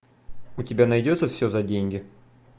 у тебя найдется все за деньги